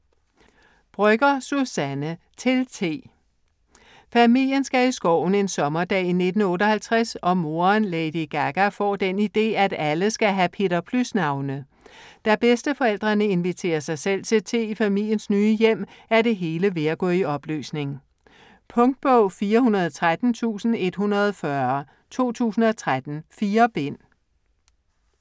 Brøgger, Suzanne: Til T Familien skal i skoven en sommerdag i 1958, og moderen, Lady Gaga, får den ide, at alle skal have Peter Plys navne. Da bedsteforældrene inviterer sig selv til te i familiens nye hjem, er det hele ved at gå i opløsning. Punktbog 413140 2013. 4 bind.